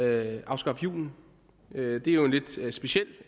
at afskaffe julen er jo en lidt speciel